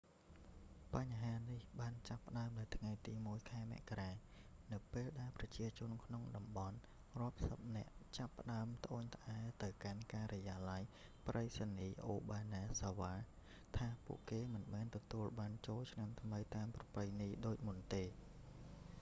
បញ្ហានេះបានចាប់ផ្តើមនៅថ្ងៃទី 1 ខែមករា នៅពេលដែលប្រជាជនក្នុងតំបន់រាប់សិបនាក់ចាប់ផ្តើមត្អូញត្អែរទៅកាន់ការិយាល័យប្រៃសណីយ៍អូបាណាហ្សាវ៉ា obanazawa ថាពួកគេមិនបានទទួលប័ណ្ណចូលឆ្នាំថ្មីតាមប្រពៃណីដូចមុនទេ